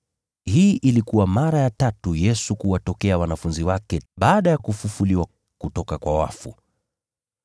Hii ilikuwa mara ya tatu Yesu kuwatokea wanafunzi wake baada yake kufufuliwa kutoka kwa wafu.